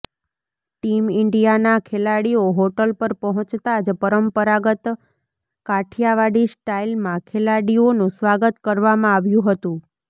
team ઇન્ડિયાના ખેલાડીઓ hotel પર પહોંચતા જ પરંપરાંગત કાઠિયાવાડી સ્ટાઈલમાં ખેલાડીઓનું સ્વાગત કરવામાં આવ્યું હતુ